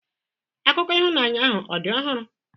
Akụkọ ịhụnanya ahụ ọ̀ dị ọhụrụ?